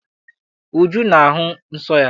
Uju na-ahụ nsọ ya.